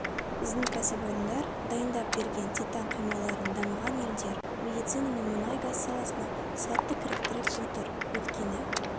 біздің кәсіпорындар дайындап берген титан құймаларын дамыған елдер медицина мен мұнай-газ саласына сәтті кіріктіріп отыр өйткені